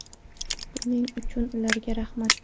Buning uchun ularga rahmat.